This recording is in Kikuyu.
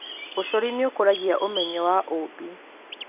Ũcori nĩ ũkũragia ũmenyo wa ũũmbi.